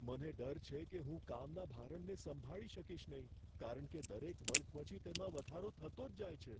મને ડર છે કે હું કામના ભારણને સંભાળી શકીશ નહીં, કારણ કે દરેક વર્ગ પછી તેમાં વધારો થતો જ જાય છે.